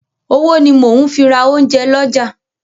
Owó ni mo ń fi ra oúnjẹ lọ́jà.